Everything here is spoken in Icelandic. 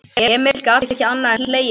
Emil gat ekki annað en hlegið að honum.